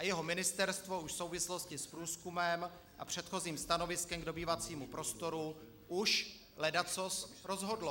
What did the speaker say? A jeho ministerstvo už v souvislosti s průzkumem a předchozím stanoviskem k dobývacímu prostoru už ledacos rozhodlo.